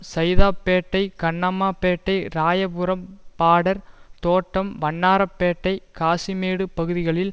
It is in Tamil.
சைதாப்பேட்டை கண்ணம்மா பேட்டை ராயபுரம் பாடர் தோட்டம் வண்ணாரப்பேட்டை காசிமேடு பகுதிகளில்